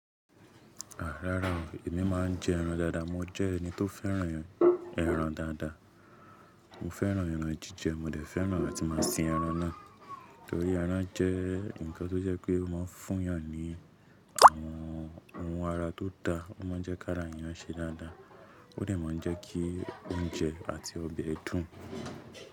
Rárá o, èmi máa ń jẹ ẹran dáadáa. Mo jẹ́ ẹni tó fẹ́ràn ẹran dáadáa. Mo fẹ́ràn ẹran jíjẹ, mo dẹ̀ fẹ́ràn áti máa sin ẹran náà, torí ẹran jẹ́ nǹkan tó jẹ́ pé a máa ń fún ìyàn ní àwọn ohun ara tó da, ó máa ń jẹ́ kí ara èèyàn ṣe dáadáa, ó dẹ̀ máa ń jẹ́ kí oúnjẹ àti ọbẹ̀ dùn.